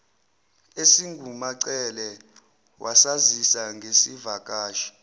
esingumacele wasazisa ngesivakashi